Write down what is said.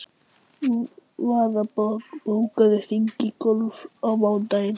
Varða, bókaðu hring í golf á mánudaginn.